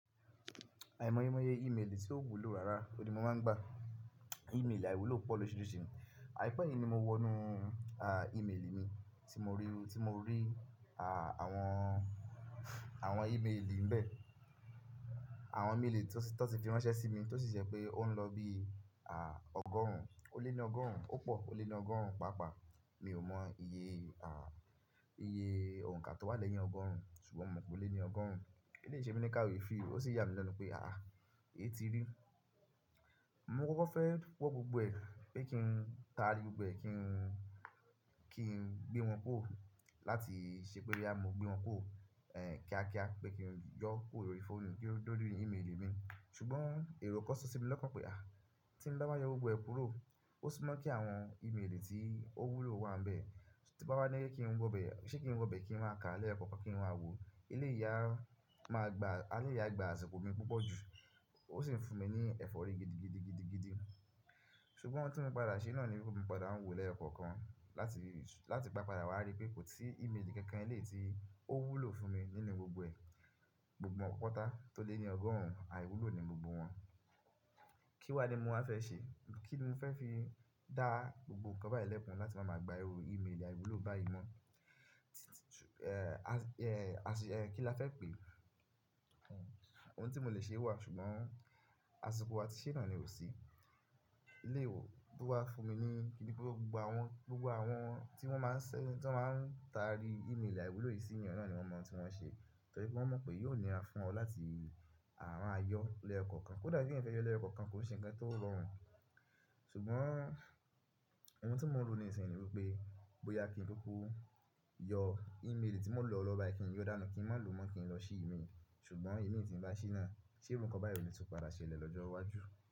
Àìmeye meye ìmélì tí ó wúlò rárá, oni mo máa ń gba ìmélì àìwúlò pọ̀ lórisirisi. Àìpẹ́ yìí ni mo wọnú, à, ìmélì mi tí mo rí, tí mo rí, à, àwọn, àwọn ìmélì ńbẹ. Àwọn ìmélì tó ti fi ránṣẹ́ sí mi, tó sì ṣẹ pé ó ń lọ bí, à, ọgọ́rùn-ún, ó lé ní ọgọ́rùn-ún, ó pọ̀, ó lé ní ọgọ́rùn-ún pàápàá. Mi ò mọ iye, à, iye òǹkà tó wà lẹ́yìn ọgọ́rùn-ún, ṣùgbọ́n mo mọ̀ pé ó lé ní ọgọ́rùn-ún. Kí ni se mi ní káye fí, ó sì yà mí lenu pé, à, è ti rí. Mo kọ́kọ́ fẹ́ wọ́ gbogbo ẹ̀ pé kí n taari gbogbo ẹ̀ kí n, kí n gbé wọn kúrò láti ṣe pé bí a mo gbé wọn kúrò, ẹ, kíákíá, pé kí n yọ kúrò lorí fóònù kí ó dori ní ìmélì mi. Ṣùgbọ́n èrò kan sọ sí mi lọ́kan pé, à, tí bá wa yọ gbogbo ẹ̀ kúrò, ó sì máa ń kí àwọn ìmélì tí ó wúlò wà ńbẹ. Ti mo bá bá ní kí n wọ bẹ̀, ṣé kí n wọ bẹ̀ kí n má a ká lẹ́yokọ̀kan kí n máa wo, ele a máa gba, alẹ́ yen gba àsìkò mi púpọ̀ jù. Ó sì ń fún mi ní ẹ̀fọ́rí gidigidi, gidigidi. Ṣùgbọ́n ohun tí mo padà ṣe náà ni wípé mi padà ń wo lẹ́yokọ̀kan láti, láti pàápàá wá rí pé kò sí ìmélì kankan le tí ó wúlò fún mi nínú gbogbo ẹ̀, gbogbo won pata tó lé ní ọgọ́rùn-ún, àìwúlò ni gbogbo wọn. Kí wá ni mo máa fẹ́ ṣe? Kí ni mo fẹ́ fi dá gbogbo ǹkan báyì lẹ́pọ̀n láti máa máa gba ewu ìmélì àìwúlò báyìí mọ́? Ẹ, kí la fẹ́ pè é? Ohun tí mo lè ṣe wà, ṣùgbọ́n àsìkò a tí ṣè nà ni ò sí. Ilé ìwé towa fún mi ní kí ni gbogbo àwọn, gbogbo àwọn tí wọ́n máa ń ṣẹ̀, tí wọ́n máa ń taari ìmélì àìwúlò yìí sí ènìyàn náà ni wọ́n mọ́ tí wọ́n ṣe. Torí wọ́n mọ̀ pé yóò níra fún ọ láti, à, máa yọ lẹ́yokọ̀kan. Kódà kí ènìyàn fẹ́ yọ lẹ́yokọ̀kan, kò sí ǹkan tó rọrùn. Ṣùgbọ́n ohun tí mòro ní ìsin wípé bóyá kí n kúkú yọ ìmélì tí mò ń lọ lọ́ ba ẹ kí n yóò dánù kí ń má lu mọ́ kí n lọ ṣí ìmélì. Ṣùgbọ́n ìmélì tí ń bá ṣí náà, ṣé ǹkan báyì ni tún padà ṣe lè lọ́jọ́ iwájú?